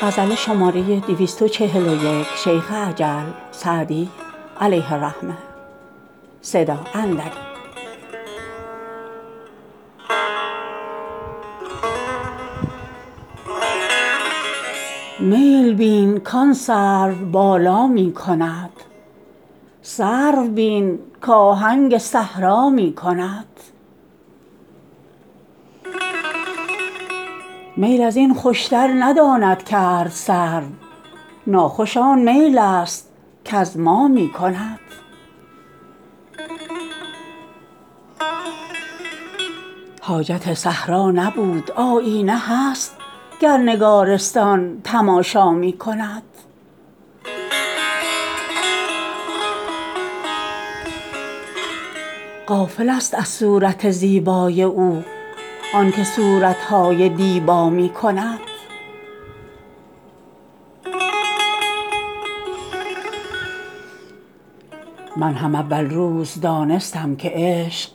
میل بین کآن سروبالا می کند سرو بین کآهنگ صحرا می کند میل از این خوشتر نداند کرد سرو ناخوش آن میل است کز ما می کند حاجت صحرا نبود آیینه هست گر نگارستان تماشا می کند غافلست از صورت زیبای او آن که صورت های دیبا می کند من هم اول روز دانستم که عشق